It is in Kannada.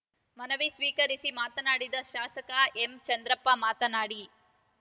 ಮನವಿ ಸ್ವೀಕರಿಸಿ ಮಾತನಾಡಿದ ಶಾಸಕ ಎಂಚಂದ್ರಪ್ಪ ಮಾತನಾಡಿ